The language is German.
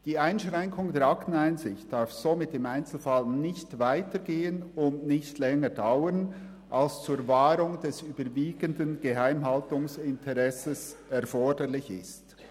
Die Einschränkung der Akteneinsicht darf somit im Einzelfall nicht weitergehen und nicht länger dauern, als es zur Wahrung des überwiegenden Geheimhaltungsinteresses erforderlich ist.